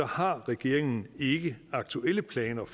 har regeringen ikke aktuelle planer